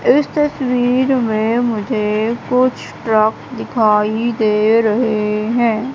इस तस्वीर में मुझे कुछ ड्रम दिखाई दे रहे है।